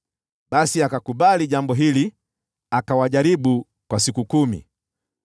Basi akakubali jambo hili, akawajaribu kwa siku kumi.